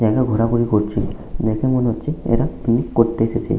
জায়গায় ঘোরাঘুরি করছে। দেখে মনে হচ্ছে এরা পিকনিক করতে এসেছে ।